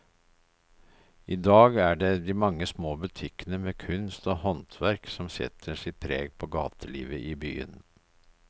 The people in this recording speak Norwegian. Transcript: I dag er det de mange små butikkene med kunst og håndverk som setter sitt preg på gatelivet i byen.